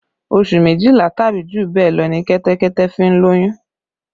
Oṣù méjìlá tàbí jù bẹ́ẹ̀ lọ ní Kẹ́tẹ́kẹ́tẹ́ fi ń lóyún